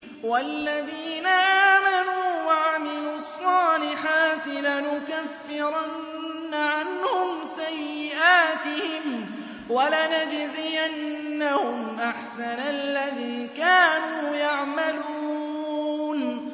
وَالَّذِينَ آمَنُوا وَعَمِلُوا الصَّالِحَاتِ لَنُكَفِّرَنَّ عَنْهُمْ سَيِّئَاتِهِمْ وَلَنَجْزِيَنَّهُمْ أَحْسَنَ الَّذِي كَانُوا يَعْمَلُونَ